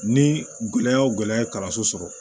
Ni gɛlɛya o gɛlɛya ye kalanso sɔrɔ